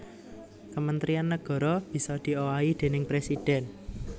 Kementrian nagara bisa diowahi déning presidhèn